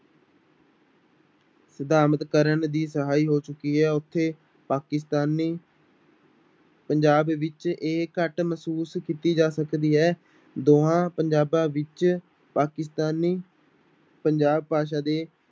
ਸਥਾਪਤ ਕਰਨ ਦੀ ਸਹਾਈ ਹੋ ਚੁੱਕੀ ਹੈ ਉੱਥੇ ਪਾਕਿਸਤਾਨੀ ਪੰਜਾਬ ਵਿੱਚ ਇਹ ਘੱਟ ਮਹਿਸੂਸ ਕੀਤੀ ਜਾ ਸਕਦੀ ਹੈ, ਦੋਹਾਂ ਪੰਜਾਬਾਂ ਵਿੱਚ ਪਾਕਿਸਤਾਨੀ ਪੰਜਾਬ ਭਾਸ਼ਾ ਦੇ